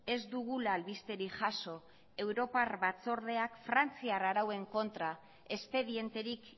ez dugula albisterik jaso europar batzordeak frantziar arauen kontra espedienterik